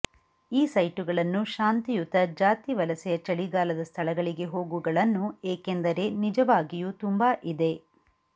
ಈ ಸೈಟುಗಳನ್ನು ಶಾಂತಿಯುತ ಜಾತಿ ವಲಸೆಯ ಚಳಿಗಾಲದ ಸ್ಥಳಗಳಿಗೆ ಹೋಗುಗಳನ್ನು ಏಕೆಂದರೆ ನಿಜವಾಗಿಯೂ ತುಂಬಾ ಇದೆ